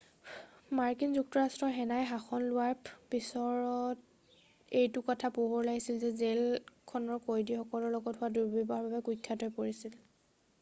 মাৰ্কিন যুক্তৰাষ্ট্ৰৰ সেনাই শাসন লোৱাৰ পিছৰত এইটো কথা পোহৰত আহিছিল যে জেল খন কয়দীৰ লগত হোৱা দুৰ্ব্যৱহাৰৰ বাবে কুখ্যাত হৈ পৰিছিল